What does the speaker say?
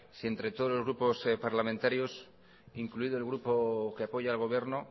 si entre todos los grupos parlamentarios incluido el grupo que apoya al gobierno